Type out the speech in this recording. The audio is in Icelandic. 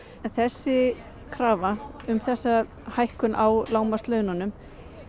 en þessi krafa um þessa hækkun á lágmarkslaununum